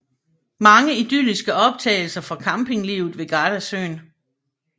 Mange idylliske optagelser fra campinglivet ved Gardasøen